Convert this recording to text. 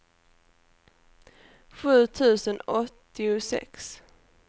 sju tusen åttiosex